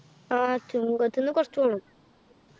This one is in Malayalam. ആഹ് ചുങ്കത്തുന്നു കുറച്ചു പോണം